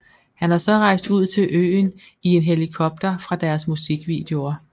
Han har så rejst ud til øen i en helikopter fra deres musikvideoer